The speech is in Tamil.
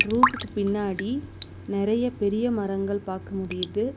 ரூஃப்கு பின்னாடி நெறைய பெரிய மரங்கள் பாக்க முடியுது.